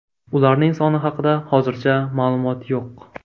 Ularning soni haqida hozircha ma’lumot yo‘q.